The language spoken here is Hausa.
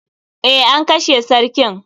Eh, an kashe sarkin.